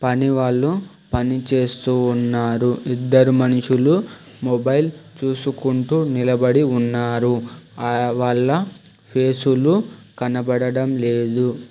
పనివాళ్ళు పనిచేస్తు ఉన్నారు ఇద్దరు మనుషులు మొబైల్ చూసుకుంటూ నిలబడి ఉన్నారు ఆ వాళ్ళ ఫేసులు కనబడడం లేదు.